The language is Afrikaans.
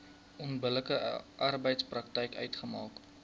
onbillike arbeidspraktyk uitmaak